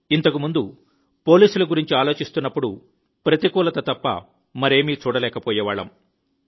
ఇంతకుముందు పోలీసుల గురించి ఆలోచిస్తున్నప్పుడు ప్రతికూలత తప్ప మరేమీ చూడలేకపోయేవాళ్ళం